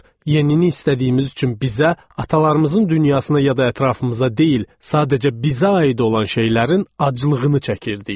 Yenini istədiyimiz üçün bizə, atalarımızın dünyasına ya da ətrafımıza deyil, sadəcə bizə aid olan şeylərin aclığını çəkirdik.